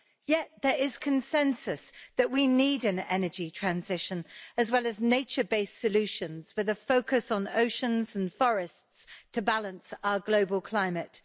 Yet there is consensus that we need an energy transition, as well as nature based solutions with a focus on oceans and forests, to balance our global climate.